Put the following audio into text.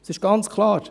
Es ist ganz klar.